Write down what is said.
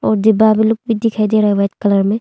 और डिब्बा दिखाई दे रहा है वाइट कलर में।